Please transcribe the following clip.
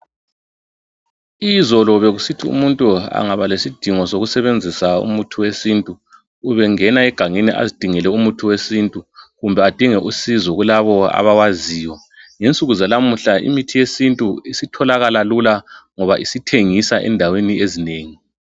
Izolo bekusithi umuntu angaba lesidingo sokusebenzisa umuthi wesintu ubengena egangeni azidingele umuthi wesintu kumbe adinge usizo kulabo abawaziyo. Ngensuku zalamuhla imithi yesintu isitholakala lula ngoba isithengisa endaweni ezinengi